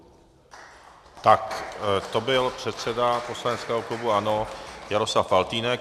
Tak, to byl předseda poslaneckého klubu ANO Jaroslav Faltýnek.